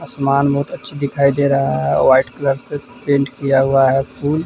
आसमान बहुत अच्छा दिखाई दे रहा है व्हाइट कलर से पेंट किया हुआ है फूल --